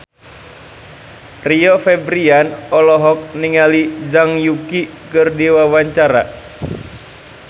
Rio Febrian olohok ningali Zhang Yuqi keur diwawancara